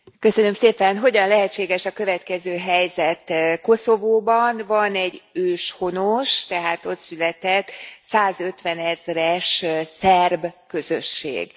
Elnök Úr, hogyan lehetséges a következő helyzet? Koszovóban van egy őshonos, tehát ott született százötvenezres szerb közösség.